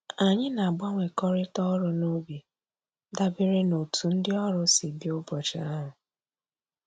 Anyị na-agbanwekọrịta ọrụ n'ubi dabere n'otu ndị ọrụ si bịa ụbọchị ahụ